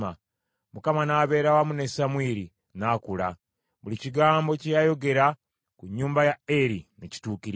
Mukama n’abeera wamu ne Samwiri, n’akula. Buli kigambo kye yayogera ku nnyumba ya Eri ne kituukirira.